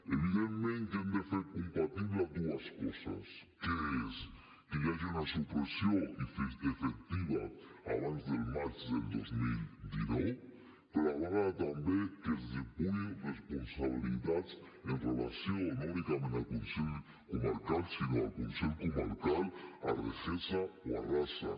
evidentment que hem de fer compatible dues coses que són que hi hagi una supressió efectiva abans del maig del dos mil dinou però a la vegada també que es depurin responsabilitats en relació no únicament amb el consell comarcal sinó amb el consell comarcal amb regesa o rassa